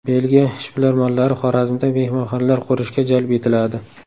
Belgiya ishbilarmonlari Xorazmda mehmonxonalar qurishga jalb etiladi.